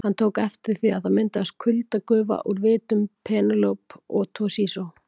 Hann tók eftir því að það myndaðist kuldagufa úr vitum Penélope og Toshizo.